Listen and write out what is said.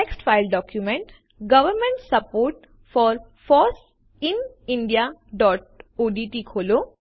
text file document government support for foss in indiaઓડીટી ખોલો